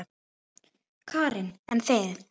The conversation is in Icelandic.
Karen: En þið?